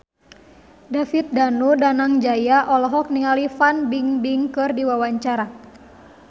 David Danu Danangjaya olohok ningali Fan Bingbing keur diwawancara